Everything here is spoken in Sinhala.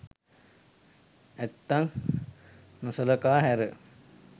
ඇත්තන් නොසලකා හැර